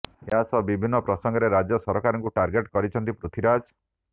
ଏହା ସହ ବିଭିନ୍ନ ପ୍ରସଙ୍ଗରେ ରାଜ୍ୟ ସରକାରଙ୍କୁ ଟାର୍ଗେଟ କରିଛନ୍ତି ପୃଥୀରାଜ